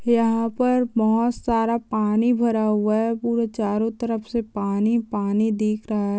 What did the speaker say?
यहां पर बहुत सारा पानी भरा हुआ है पुरा चारों तरफ से पानी-पानी दिख रहा --